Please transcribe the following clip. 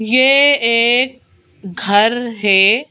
ये एक घर है।